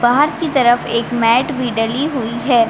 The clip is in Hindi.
बाहर की तरफ एक मैट भी डली हुई हैं।